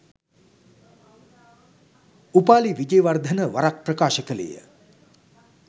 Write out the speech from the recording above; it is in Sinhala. උපාලි විජේවර්ධන වරක් ප්‍රකාශ කළේ ය